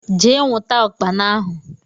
Jee nwụta ukpana ahụ!!